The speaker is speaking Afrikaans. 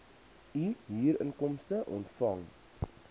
u huurinkomste ontvang